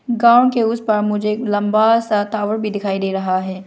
गांव के उसे पर मुझे लंबा सा टावर भी दिखाई दे रहा है।